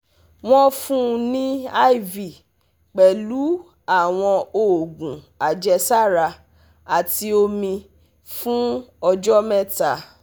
Wọ́n fún un ní IV pẹ̀lú àwọn oògùn àjẹsára àti omi fún ọjọ́ mẹ́ta